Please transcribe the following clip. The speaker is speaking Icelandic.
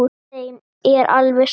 Þeim er alveg sama.